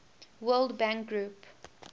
world bank group